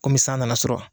Komi san nana sɔrɔ